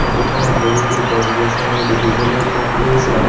Photo খনত বহুতো গছ-গছনি দেখিবলৈ পোৱা গৈছে।